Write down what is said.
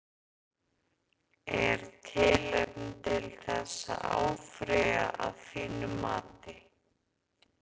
Er tilefni til þess að áfrýja að þínu mati?